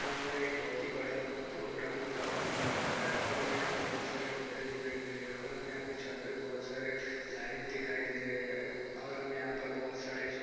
यहाँ पर एक बहोत ही बड़ा प्रोग्राम होता हुआ नज़र आ रहा है और हमें यहाँ पर बहोत सारे पर्दे दिखाई दे रहे है और हमें यहाँ पे छत पे बहोत सारे लाइट दिखाई दे रहे है और हमें यहाँ पे बहोत सारे --